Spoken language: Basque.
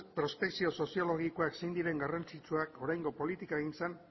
prospekzio soziologikoak zein diren garrantzitsuak oraingo politikagintzan